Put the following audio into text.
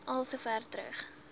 al sover terug